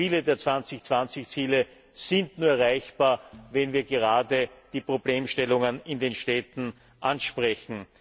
Denn viele der 2020 Ziele sind nur erreichbar, wenn wir gerade die Problemstellungen in den Städten ansprechen.